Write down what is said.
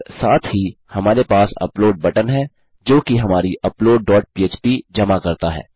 और साथ ही हमारे पास अपलोड बटन है जोकि हमारी अपलोड डॉट पह्प जमा करता है